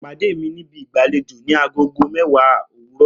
Pàdé mi níbi ìgbàlejò ni agogo mẹ́wàá òwúrọ̀!